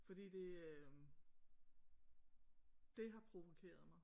Fordi det øh det har provokeret mig